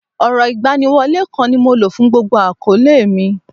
Ọrọ̀ igbaniwole kan ni mo lo fún gbogbo akoole mi.